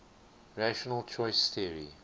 rational choice theory